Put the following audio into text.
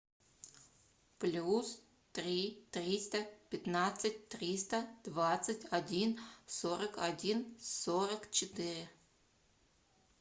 плюс три триста пятнадцать триста двадцать один сорок один сорок четыре